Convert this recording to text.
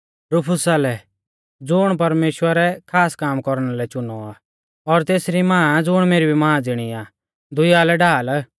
रूफुसा लै ज़ुण परमेश्‍वरै खास काम कौरना लै च़ुनौ आ और तेसरी मां ज़ुण मेरी भी मां ज़िणी आ दुइया लै ढाल